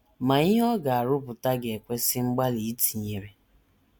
Ma ihe ọ ga - arụpụta ga - ekwesị mgbalị i tinyere!